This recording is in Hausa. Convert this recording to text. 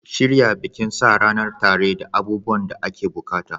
Shirya bikin sa ranar tare da abubuwan da ake buƙata.